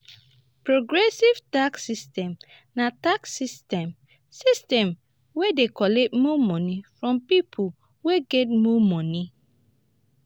progressive tax system na tax system system wey dey collect more money from pipo wey get more money